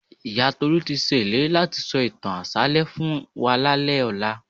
Ìyá Tolú ti ṣe ìlérí láti sọ ìtàn àṣálẹ́ fún wa lálẹ́ ọ̀la